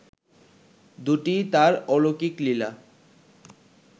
দুটিই তার অলৌকিক লীলা